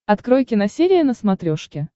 открой киносерия на смотрешке